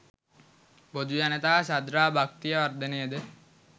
බොදුජනතා ශ්‍රද්ධා භක්තිය වර්ධනයද